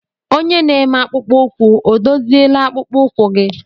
Onye na-eme akpụkpọ ụkwụ ọ dozila akpụkpọ ụkwụ gị?